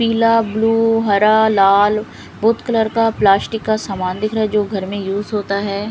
पीला ब्लू हरा लाल बहोत कलर का प्लास्टिक का समान दिख रहा है जो घर में यूज होता है।